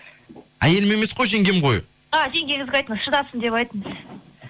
әйелім емес қой жеңгем ғой а жеңгеңізге айтыңыз шыдасын деп айтыңыз